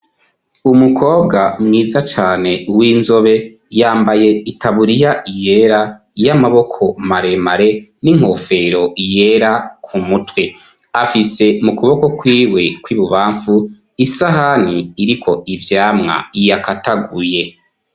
umukobwa mwiza cane w'inzobe yambaye itaburiya yera y'amaboko maremare n'inkofero yera ku mutwe afise mu kuboko kwiwe kw'ibubamvu isahani iriko ivyamwa yakataguye